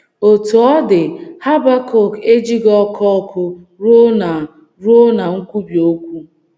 Otú ọ dị, Habakọk ejighị ọkụ ọkụ ruo ná ruo ná nkwubi okwu.